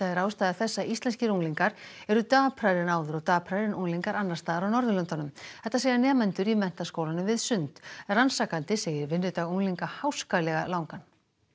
er ástæða þess að íslenskir unglingar eru daprari en áður og daprari en unglingar annars staðar á Norðurlöndunum þetta segja nemendur í Menntaskólanum við Sund rannsakandi segir vinnudag unglinga háskalega langan